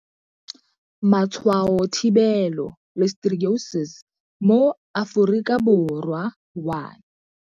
Matshwao Thibelo Listeriosis mo Aforika Borwa 1.